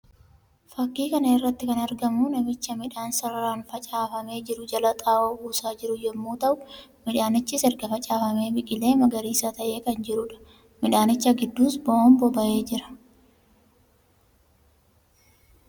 Fakkii kana irratti kan argamu namicha midhaan sararaan facaafamee jiru jala xaa'oo buusaa jiru yammuu ta'u; midhaanichis erga facaafamee biqilee magariisa ta'ee kan jiruu dha. Midhaanicha gidduus bo'oon baba'ee jira.